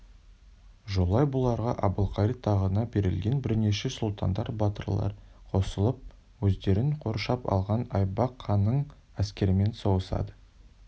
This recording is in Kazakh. жолай бұларға әбілқайыр тағына берілген бірнеше сұлтандар батырлар қосылып өздерін қоршап алған айбақ ханның әскерімен соғысады